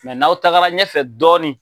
n'aw tagara ɲɛfɛ dɔɔni